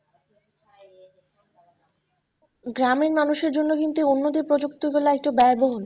গ্রামের মানুষের জন্য কিন্তু উন্নতি প্রযুক্তির বেলায় একটু ব্যয়বহুল।